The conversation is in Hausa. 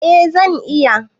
Eh zan iya.